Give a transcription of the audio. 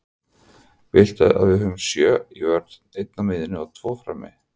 Viltu að við höfum sjö í vörn, einn á miðjunni og tvo frammi?